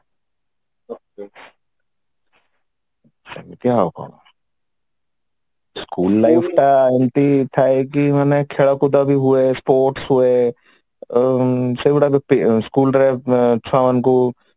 ସେମିତି ଆଉ କଣ school life ଟା ଏମିତି ଥାଏ କି ମାନେ ଖେଳ କୁଦ ବି ହୁଏ sports ହୁଏ ଆଉ ସବୁଗୁଡା ଗୋଟେ school ରେ ଛୁଆ ମାନଙ୍କୁ